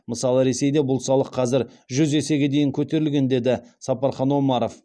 мысалы ресейде бұл салық қазір жүз есеге дейін көтерілген деді сапархан омаров